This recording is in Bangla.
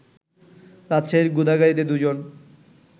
রাজশাহীর গোদাগাড়িতে দু'জন